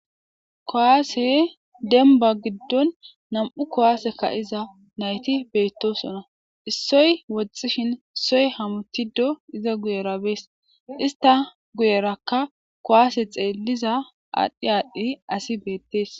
Kowaase demba giddon nam7u kowaaseka iza nayti beettosona issoy woxxishin soy hamutido iza guyerabees ista guyerakka kowaase xeelliza aadhdhi aadhdhi asi beettees.